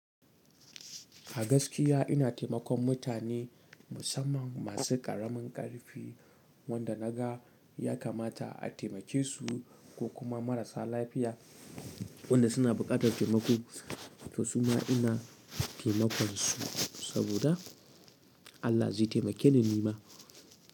A gaskiya ina taimakon mutane musamman masu ƙaramin ƙarfi wanda na ga ya kamata a taimake su ko kuma marasa lafiya wanda suna buƙatar taimako to su ma ina taimakon su saboda Allah zai taimake ni nima.